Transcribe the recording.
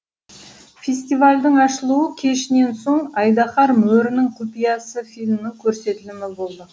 фестивальдің ашылуы кешінен соң айдаһар мөрінің құпиясы фильмінің көрсетілімі болды